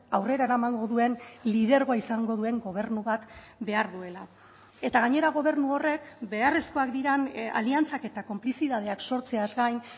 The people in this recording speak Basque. aurrera eramango duen lidergoa izango duen gobernu bat behar duela eta gainera gobernu horrek beharrezkoak diren aliantzak eta konplizitateak sortzeaz gain